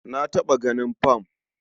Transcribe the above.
Na taɓa ganin fam.